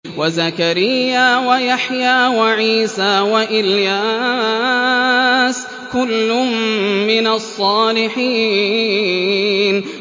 وَزَكَرِيَّا وَيَحْيَىٰ وَعِيسَىٰ وَإِلْيَاسَ ۖ كُلٌّ مِّنَ الصَّالِحِينَ